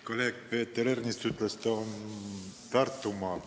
Kolleeg Peeter Ernits ütles, et ta on Tartumaalt.